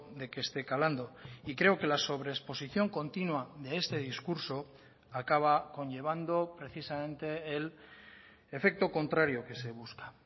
de que esté calando y creo que la sobreexposición continua de este discurso acaba conllevando precisamente el efecto contrario que se busca